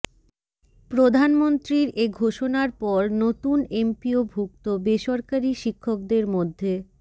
প্রধানমন্ত্রীর এ ঘোষণার পর নতুন এমপিওভুক্ত বেসরকারি শিক্ষকদের মধ্যে